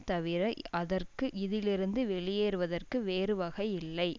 தவிர அதற்கு இதிலிருந்து வெளியேறுவதற்கு வேறு வகை இல்லை